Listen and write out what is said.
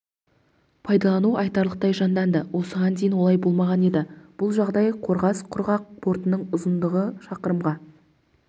пайдалану айтарлықтай жанданды осыған дейін олай болмаған еді бұл жағдай қорғас құрғақ портының ұзындығы шақырымға